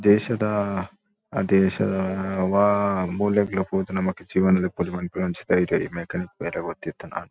ದೇಶದ ದೇಶ ವಾ ಮೂಲೆಗ್ಲಾ ಪೋದು ನಮಕ್ ಜೀವನ ದೆಪ್ಪೊಲಿ ಪನ್ಪುನಂಚಿತ್ತಿನ ಧೈರ್ಯ ಬೇಲೆ ಗೊತ್ತಿತ್ತ್ ನಾಂಡ.